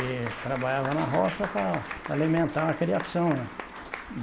E trabalhava na roça para alimentar a criação, né.